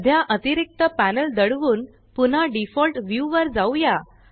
सध्या अतिरिक्त पॅनल दडवून पुन्हा डिफॉल्ट व्यू वर जाऊया